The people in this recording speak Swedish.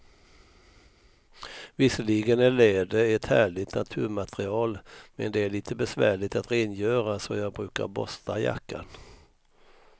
Visserligen är läder ett härligt naturmaterial, men det är lite besvärligt att rengöra, så jag brukar borsta jackan.